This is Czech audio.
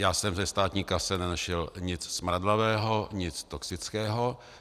Já jsem ve státní kase nenašel nic smradlavého, nic toxického.